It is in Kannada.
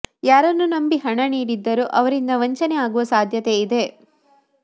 ಯಾರನ್ನು ನಂಬಿ ಹಣ ನೀಡಿದ್ದರೋ ಅವರಿಂದ ವಂಚನೆ ಆಗುವ ಸಾಧ್ಯತೆ ಇದೆ